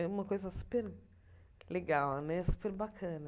É uma coisa super legal né, super bacana.